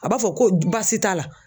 A b'a fɔ ko baasi t'a la